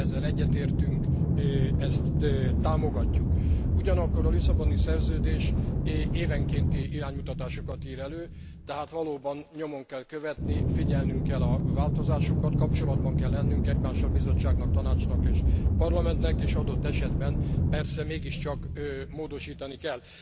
Ezzel egyetértünk, ezt támogatjuk. Ugyanakkor a Lisszaboni Szerződés évenkénti iránymutatásokat ír elő, tehát valóban nyomon kell követni, figyelnünk kell a változásokat, kapcsolatban kell lennünk egymással, Bizottságnak, Tanácsnak és Parlamentnek, és adott esetben persze mégiscsak módosítni kell.